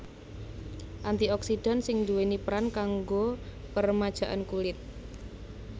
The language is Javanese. Anti oksidan sing nduwèni peran kanggo peremajaan kulit